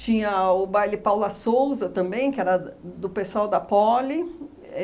o baile Paula Souza também, que era da do pessoal da Poli,